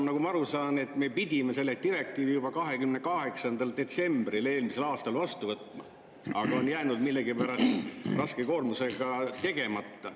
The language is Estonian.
Nagu ma aru saan, me pidime selle direktiivi üle võtma juba eelmise aasta 28. detsembriks, aga millegipärast on see jäänud raske koormuse tõttu tegemata.